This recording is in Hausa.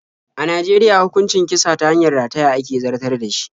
A Najeriya hukuncin kisa ta hanyar rataya ake zartar da shi.